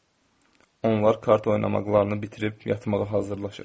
Onlar kart oynamaqlarını bitirib yatmağa hazırlaşır.